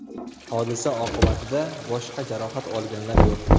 Hodisa oqibatida boshqa jarohat olganlar yo‘q.